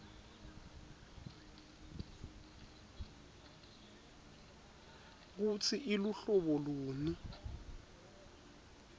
kutsi iluhlobo luni